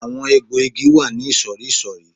Àwọn egbò igi wà ní ìsòrísòrí